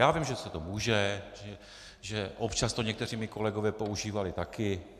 Já vím, že se to může, že občas to někteří moji kolegové používali také